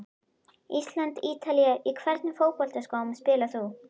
Ísland- Ítalía Í hvernig fótboltaskóm spilar þú?